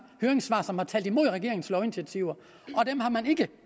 høringssvar som har talt imod regeringens lovinitiativer og dem har man ikke